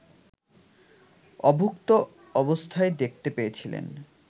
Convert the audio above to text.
অভুক্ত অবস্থায় দেখতে পেয়েছিলেন